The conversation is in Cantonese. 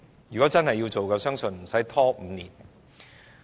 如果真的要實行，我相信無須拖5年。